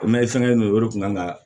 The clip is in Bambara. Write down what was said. O mɛ fɛnkɛlen do o de kun kan ka